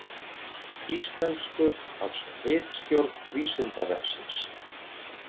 Íslenskuð af ritstjórn Vísindavefsins.